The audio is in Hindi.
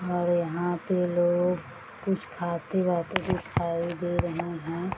और यहाँ पे लोग कुछ खाते-वाते दिखाई दे रहें हैं।